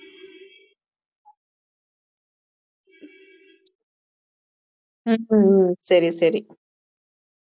உம் உம் சரி சரி